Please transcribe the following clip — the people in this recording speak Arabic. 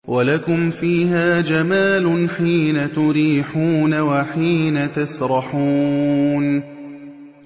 وَلَكُمْ فِيهَا جَمَالٌ حِينَ تُرِيحُونَ وَحِينَ تَسْرَحُونَ